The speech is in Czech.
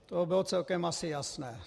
To bylo celkem asi jasné.